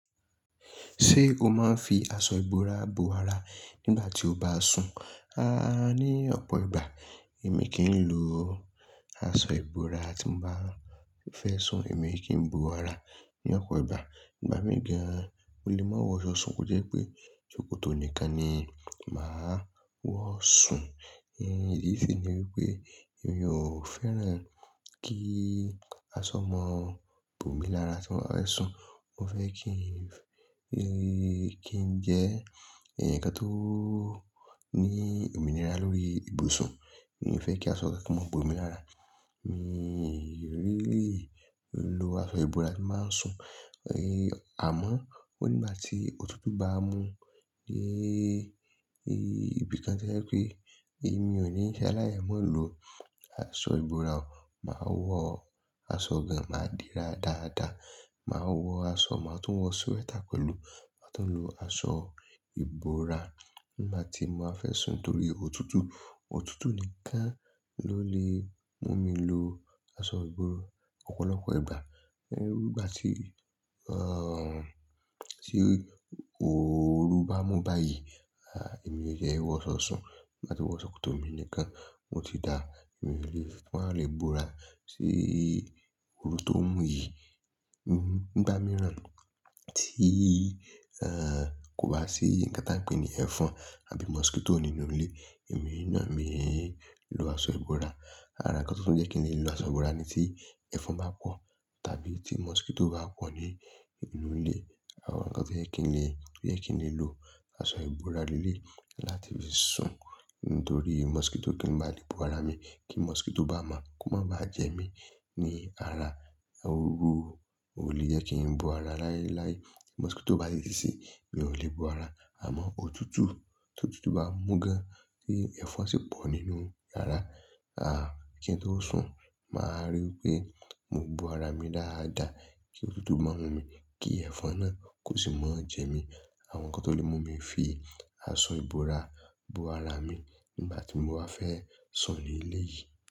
Ṣé o máa ń fi aṣọ ìbora bò ara nígbà tí o bá sùn? Aaa, ní ọ̀pọ̀ ìgbà èmi kìí lò aṣọ ìbora tí mo bá fẹ́ sùn. Èmi kì í bò ara ní ọ̀pọ̀ ìgbà. Igba mìí gàn mo lè má wọ̀ṣọ sùn, kó jẹ́ pé ṣòkòtò nìkan ni màá wọ̀ sùn. Ìdí sì ni wípé èmi ò fẹ́ràn kí aṣọ mọ bò mi lára tí mo bá fẹ́ sùn. Mo fẹ́ kí ń jẹ́ ẹ̀yàn kan tó ní òmìnira lórí ibùsùn. Mi ò fẹ́ kí aṣọ kankan máa bò mi lára. Mi ò really lò aṣọ ìbora tí bà n sùn. Àmọ́, ó nígbà tí òtútù bá mú, ni ibìkan to jẹ́ wípé èmi ò ní ṣe alai má lò aṣọ ìbora o. Màá wọ aṣọ gan máa dìra dáadáa. Màá wọ aṣọ, màá tún wọ sweater pẹ̀lú. Màá tún lò aṣọ ìbora nígbà tí mo bá fẹ́ sùn torí òtútù. Òtútù nìkan ló lè mú mi lò aṣọ ìbora ọ̀pọ̀lọpọ̀ ìgbà. Iru nígbà tí, tí oru bá mú báyìí, èmi o tie wọ̀ṣọ sùn. Tin bá wọ ṣòkòtò mi nìkan, o ti dáa, èmi ò lè wá lè bò ara sí oru tó ń mú yìí. Nigba mìíràn tí kò bá sí nǹkan tí a ń pè ní ẹ̀fọn àbí mosquito nínú ilé, èmi náà, mii lò aṣọ ìbora. Àrà nkán tó tún jẹ́ kí n lè lò aṣọ ìbora ni tí ẹ̀fọn bá pọ̀ tàbí tí mosquito bá pọ̀ ní inú ilé. Àwọn nkán tí ó jẹ́ kí n lè, kí n lè lò aṣọ ìbora leleyii láti fi sùn nítorí mosquito kan ma bá lè bò ara mi. Kí mosquito bá ma kó má bá jẹ mí ní ara. Oru ò lè jẹ́ kí n bò ara láéláé. Mosquito báyí nisinyi, mi ò lè bò ara. Àmọ́ òtútù, t'òtútù bá mú gan-an tí ẹ̀fọn sì pọ̀ nínú iyàrá, kí ń tó sùn màá ríi wípé mo bò ara mi dáadáa kí òtútù má mú mi, kí ẹ̀fọn náà kò sì máa jẹ mí. Àwọn nkán tó lè mú mi fi aṣọ ìbora bò ara mi nígbà tí mo bá fẹ́ sùn ní ilé yìí.